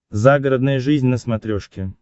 загородная жизнь на смотрешке